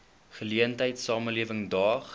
geleentheid samelewing daag